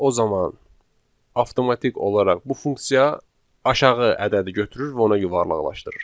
o zaman avtomatik olaraq bu funksiya aşağı ədədi götürür və ona yuvarlaqlaşdırır.